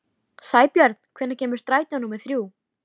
Sæbjörn, hvenær kemur strætó númer þrjú?